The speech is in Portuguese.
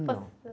Não.